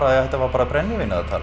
þetta var bara brennivínið að tala